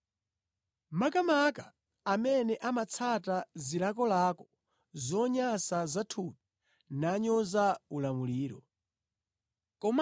Makamaka amene amatsata zilakolako zonyansa zathupi nanyoza ulamuliro. Anthu amenewa ndi odzikuza, ndipo otsata chifuniro cha iwo eni, sasamala za munthu, saopa kuchitira chipongwe zolengedwa za mmwamba.